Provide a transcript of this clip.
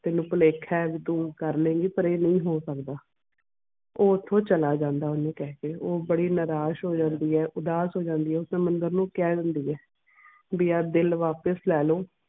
ਤੈਂਨੂੰ ਭੁਲੇਖਾ ਐ ਕਿ ਤੂੰ ਕਰ ਲਏਂਗੀ ਪਰ ਇਹ ਨਹੀਂ ਹੋ ਸਕਦਾ ਉਹ ਉਥੋਂ ਚਲਾ ਜਾਂਦਾ ਹੈ ਓਹਨੂੰ ਕਹਿ ਕੇ ਉਹ ਬੜੀ ਨਿਰਾਸ਼ ਹੋ ਜਾਂਦੀ ਆ ਉਦਾਸ ਹੋ ਜਾਂਦੀ ਆ ਉਹ ਸਮੁੰਦਰ ਨੂੰ ਕਹਿ ਦਿੰਦੀ ਆ ਵੀ ਆਹ ਦਿਲ ਵਾਪਿਸ ਲੈ ਲੋ